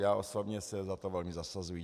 Já osobně se za to velmi zasazuji.